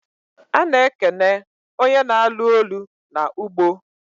A na ekene onye na alu olu na ugbo